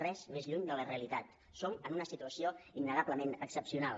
res més lluny de la realitat som en una situació innegablement excepcional